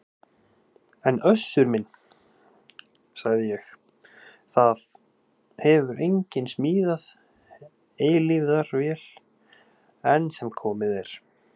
En Össur minn, sagði ég,- það hefur enginn smíðað eilífðarvél enn sem komið er.